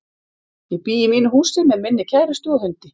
Ég bý í mínu húsi með minni kærustu og hundi.